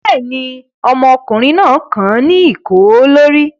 Bẹ́ẹ̀ ni, ọmọkùnrin náà kan ní ìkó lórí.